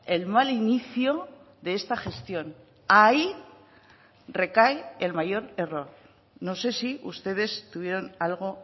el mal inicio de esta gestión ahí recae el mayor error no sé si ustedes tuvieron algo